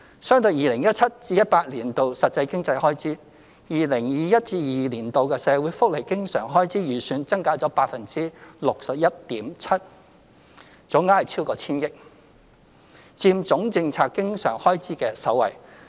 相對 2017-2018 年度實際經常開支 ，2021-2022 年度的社會福利經常開支預算增加了 61.7%， 總額超過千億元，佔政策經常開支的首位。